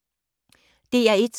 DR1